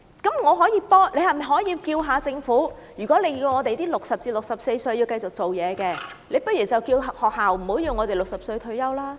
你可否幫我問問政府，既然叫60歲至64歲人士繼續工作，那麼學校可否不要要求我們60歲退休？